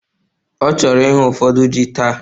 Ọ chọrọ ihu ụfọdụ ji taa